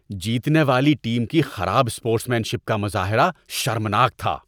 جیتنے والی ٹیم کی خراب اسپورٹس مین شپ کا مظاہرہ شرمناک تھا۔